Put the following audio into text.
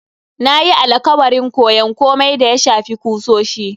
Na yi alakwarin koyon komai da ya shafi kusoshi.